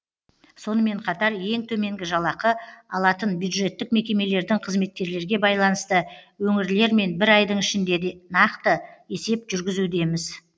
сонымен қатар ең төменгі жалақы алатын бюджеттік мекемелердің қызметкерлерге байланысты өңірлермен бір айдың ішінде нақты есеп жүргізудеміз